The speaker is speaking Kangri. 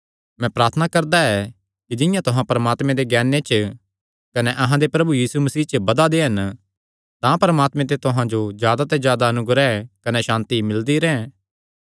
मैं प्रार्थना करदा ऐ कि जिंआं तुहां परमात्मे दे ज्ञाने च कने अहां दे प्रभु यीशु मसीह च बधा दे हन तां परमात्मे ते तुहां जो जादा ते जादा अनुग्रह कने सांति मिलदी रैंह्